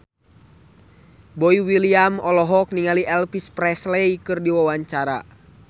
Boy William olohok ningali Elvis Presley keur diwawancara